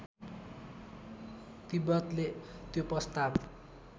तिब्बतले त्यो प्रस्ताव